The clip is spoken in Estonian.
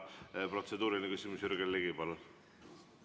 Protseduuriline küsimus, Jürgen Ligi, palun!